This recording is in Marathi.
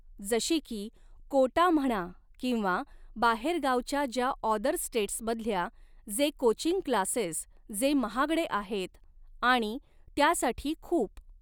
जशी की कोटा म्हणा किंवा बाहेरगावच्या ज्या ऑदर स्टेटसमधल्या जे कोचिंग क्लासेस जे महागडे आहेत आणि त्यासाठी खूप